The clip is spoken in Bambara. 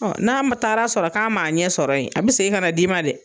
a n'a ma taara sɔrɔ k'a m'a ɲɛ sɔrɔ yen, a bɛ segin ka n'a d'i ma dɛ.